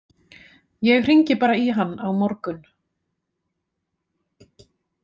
Ég hringi bara í hann á morgun.